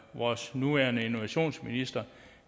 vores nuværende innovationsminister